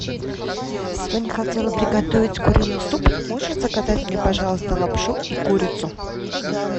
сегодня хотела приготовить куриный суп можешь заказать мне пожалуйста лапшу и курицу